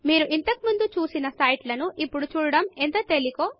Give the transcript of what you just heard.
మీరు ఇంతకు ముందు చూసిన సైట్ లను ఇప్పుడు చూడడము ఎంత తేలికో